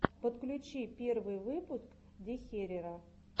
подключи первый выпуск дехерера